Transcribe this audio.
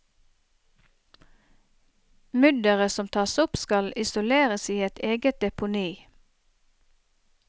Mudderet som tas opp skal isoleres i et eget deponi.